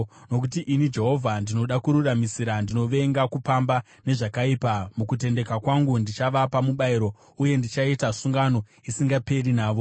“Nokuti ini, Jehovha, ndinoda kururamisira; ndinovenga kupamba nezvakaipa. Mukutendeka kwangu, ndichavapa mubayiro uye ndichaita sungano isingaperi navo.